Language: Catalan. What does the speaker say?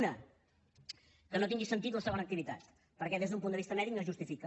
una que no tingui sentit la segona activitat perquè des d’un punt de vista mèdic no es justifica